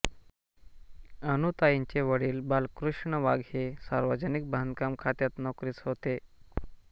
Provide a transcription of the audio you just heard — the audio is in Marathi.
अनुताईंचे वडील बालकृष्ण वाघ हे सार्वजनिक बांधकाम खात्यात नोकरीस होते